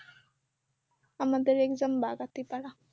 আমাদের exam বাগাতিপাড়া